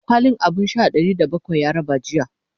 kwalin abun Sha Ɗari da bakwai ya raba jiya